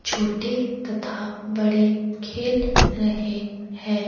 छोटे तथा बड़े खेल रहे हैं।